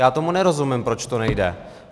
Já tomu nerozumím, proč to nejde.